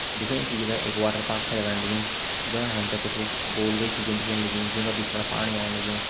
दिखेण से जु न एक वाटरपार्क छा लगण लगीं जफणा हम ते कुछ गोल गोल चीज़ें दिखेण लगीं जूं का बिच फण पाणी ओण लग्युं।